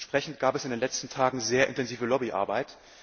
Entsprechend gab es in den letzten Tagen sehr intensive Lobbyarbeit.